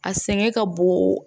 A sɛgɛn ka bon